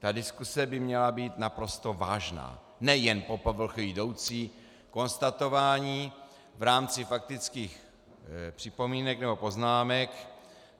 Ta diskuse by měla být naprosto vážná, nejen po povrchu jdoucí konstatování v rámci faktických připomínek nebo poznámek.